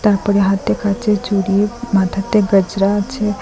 ওপরে হাত দেখাচ্ছে চুরি মাথাতে গাজরা আছে।